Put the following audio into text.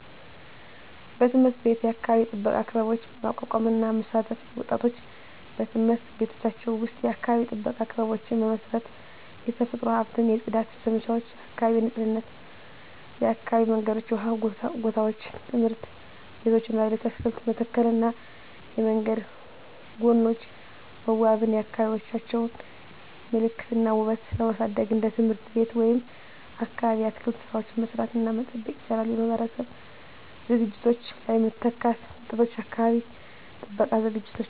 1. በትምህርት ቤት የአካባቢ ጥበቃ ክበቦች ማቋቋም እና መሳተፍ ወጣቶች በትምህርት ቤቶቻቸው ውስጥ የአካባቢ ጥበቃ ክበቦችን በመመስረት፣ የተፈጥሮ ሀብትን። 2. የጽዳት ዘመቻዎች (የአካባቢ ንፁህነት) የአካባቢ መንገዶች፣ የውሃ ጎታዎች፣ ትምህርት ቤቶች እና ሌሎች 3. አትክልት መተከልና የመንገድ ጎኖች መዋበን የአካባቢዎቻቸውን ምልክት እና ውበት ለማሳደግ እንደ ትምህርት ቤት ወይም አካባቢ የአትክልት ሥራዎችን መስራት እና መጠበቅ ይችላሉ። 4. የማህበረሰብ ዝግጅቶች ላይ መተካት ወጣቶች የአካባቢ ጥበቃ ዝግጅቶች